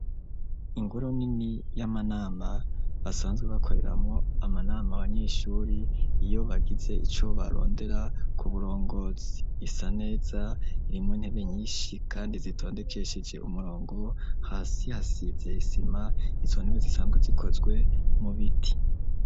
Ingoro nini y'amanama basanzwe bakoreramwo amanama abanyeshuri iyo bagize ico barondera ku burongozi ,isa neza irimwo intebe nyinshi kandi zitondekesheje umurongo, hasi hasize isima ,izo ntebe zisanzwe zikozwe mu biti.